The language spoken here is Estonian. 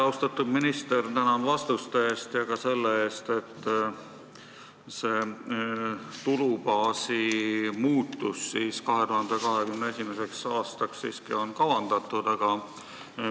Austatud minister, tänan vastuste eest ja ka selle eest, et tulubaasi muutus on 2021. aastaks siiski kavandatud!